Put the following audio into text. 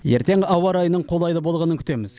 ертең ауа райының қолайлы болғанын күтеміз